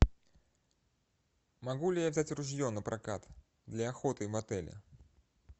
могу ли я взять ружье напрокат для охоты в отеле